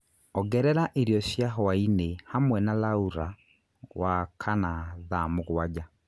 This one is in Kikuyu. ongerera irio cia hwaĩ-inĩ hamwe na Laura wa kana thaa mũgwanja